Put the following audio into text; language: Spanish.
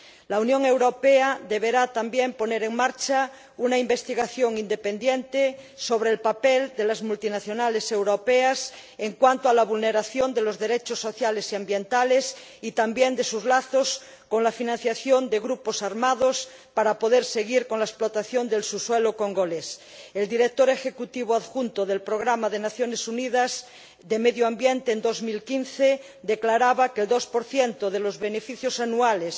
La Unión Europea deberá también poner en marcha una investigación independiente sobre el papel de las multinacionales europeas en cuanto a la vulneración de los derechos sociales y ambientales y también de sus lazos con la financiación de grupos armados para poder seguir con la explotación del subsuelo congolés. El director ejecutivo adjunto del Programa de las Naciones Unidas para el Medio Ambiente en 2015 declaraba que el 2 de los beneficios anuales